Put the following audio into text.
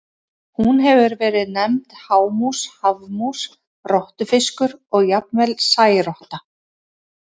Hún hefur verið nefnd hámús, hafmús, rottufiskur og jafnvel særotta.